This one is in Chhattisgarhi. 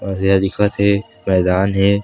और इहा दिखत हे मैदान हे।